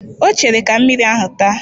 Ọ chere ka mmiri ahụ taa